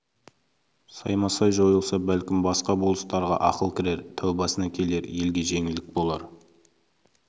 саймасай жойылса бәлкім басқа болыстарға ақыл кірер тәубасына келер елге жеңілдік болар